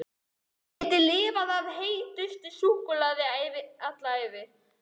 Hann gæti lifað á heitu súkkulaði alla ævi!